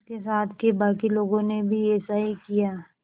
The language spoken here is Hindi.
उसके साथ के बाकी लोगों ने भी ऐसा ही किया